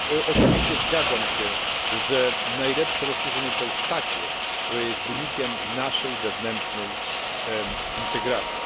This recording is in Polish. Oczywiście zgadzam się, że najlepsze rozszerzenie to rozszerzenie, które jest wynikiem naszej wewnętrznej integracji.